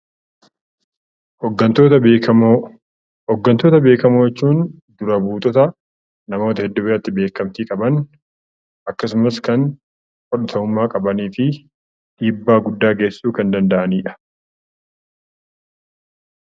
Hooggantoota beekamoo jechuun namoota namoota hedduu biratti beekamtii qaban akkasumas kan wal ta'ummaa qabanii fi dhiibbaa guddaa geessisuu kan danda'anidha.